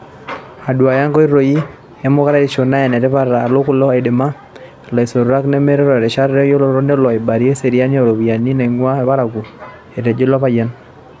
"Aduaya nkoitoi emukuraisho naa enetipata aa kelo aidimia ilasotuak menotito irishat eyiolounoto nelo aibalia eseriani o ropiyiani naangamu lparakuo," Etejo ilo payian.